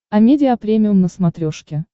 амедиа премиум на смотрешке